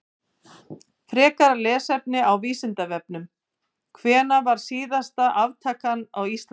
Frekara lesefni á Vísindavefnum: Hvenær var síðasta aftakan á Íslandi?